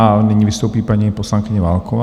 A nyní vystoupí paní poslankyně Válková.